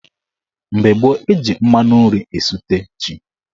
Mgbe gboo, eji mmanụ nri esute ji.